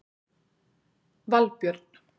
Valbjörn